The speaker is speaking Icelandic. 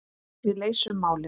Við leysum málin.